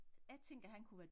Jeg tænker han kunne være